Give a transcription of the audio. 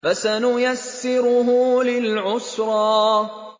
فَسَنُيَسِّرُهُ لِلْعُسْرَىٰ